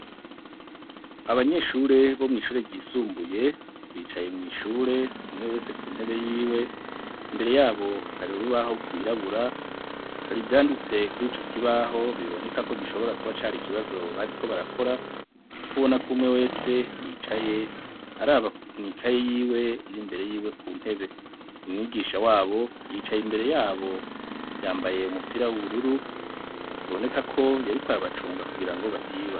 Abanyeshure bo mw'ishure ryisumbuye bicaye mw'ishure umwe wese ku ntebe yiwe, imbere yabo hari urubaho rwirabura hari ivyanditse kur'ico kibaho biboneka ko gishobora kuba cari ikibazo bariko barakora kuko ubona ko umwe wese yicaye araba mw'ikaye yiwe iri imbere yiwe ku ntebe, umwigisha wabo yicaye imbere yabo yambaye umupira w'ubururu biboneka ko yariko arabacunga kugira ngo batiba.